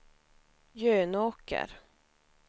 Jönåker